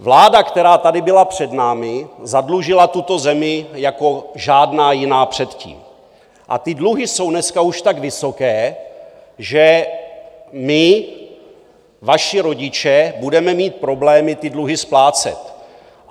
Vláda, která tady byla před námi, zadlužila tuto zemi jako žádná jiná předtím a ty dluhy jsou už dneska tak vysoké, že my, vaši rodiče, budeme mít problémy ty dluhy splácet.